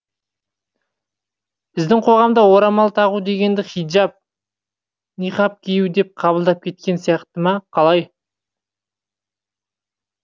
біздің қоғамда орамал тағу дегенді хиджаб ниһаб кию деп қабылдап кеткен сияқты ма қалай